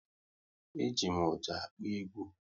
E ji m ọjà akpọ egwu